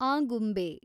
Agumbe